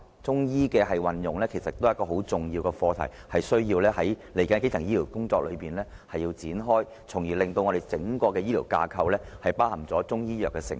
中醫的運用也是很重要的課題，需要在接下來的基層醫療工作上展開，從而令整個醫療架構包含中醫藥的成分。